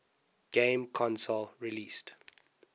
game console released